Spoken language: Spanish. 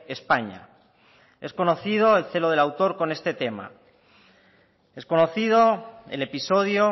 españa es conocido el celo del autor con este tema es conocido el episodio